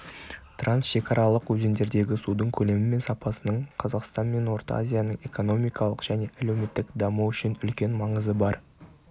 трансшекаралық өзендердегі судың көлемі мен сапасының қазақстан мен орта азияның экономикалық және әлеуметтік дамуы үшін үлкен маңызы бар